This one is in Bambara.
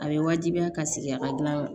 A bɛ wajibiya ka sigi a ka gilan yɔrɔ